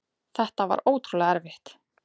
Þetta var ótrúlega erfitt.